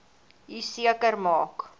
u seker maak